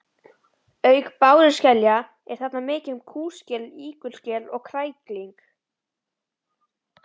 Auk báruskelja er þarna mikið um kúskel, ígulskel og krækling.